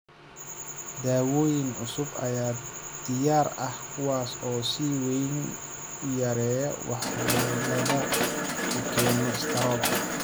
Daawooyin cusub ayaa diyaar ah kuwaas oo si weyn u yareeya waxyeelada uu keeno istaroog.